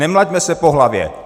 Nemlaťme se po hlavě.